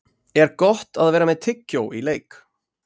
Er Gott að vera með tyggjó í leik?